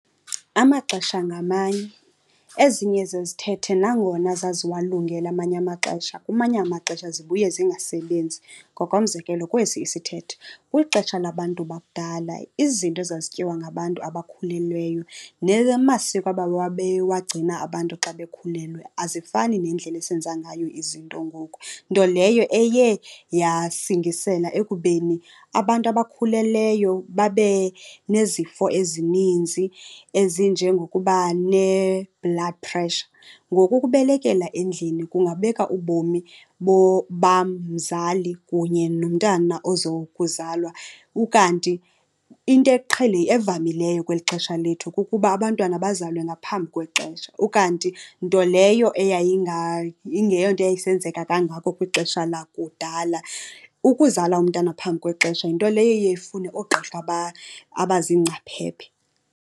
Amaxesha ngamanye, ezinye zezithethe nangona zaziwalungele amanye amaxesha kumanye amaxesha zibuye zingasebenzi. Ngokomzekelo, kwesi isithethe. Kwixesha labantu bakudala izinto ezazityiwa ngabantu abakhulelweyo namasiko ababewagcina abantu xa bekhulelwe azifani nendlela esenza ngayo izinto ngoku. Nto leyo eye yasingisela ekubeni abantu abakhulelweyo babe nezifo ezininzi ezinjengokuba ne-blood pressure. Ngoku ukubelekela endlini kungabeka ubomi bam mzali kunye nomntana ozokuzalwa. Ukanti into evamileyo kweli xesha lethu kukuba abantwana bazalwe ngaphambi kwexesha, ukanti nto leyo ingeyonto yayisenzeka kangako kwixesha lakudala. Ukuzala umntana phambi kwexesha yinto leyo eye ifune oogqirha abazingcaphephe.